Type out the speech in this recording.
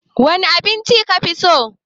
Wane abinci ka fi so?